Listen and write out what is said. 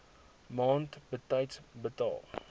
maand betyds betaal